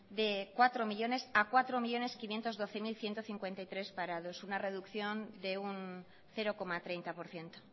de cuatro millónes a cuatro millónes quinientos doce mil ciento cincuenta y tres parados una reducción de un cero coma treinta por ciento